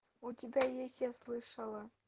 у тебя есть я слышала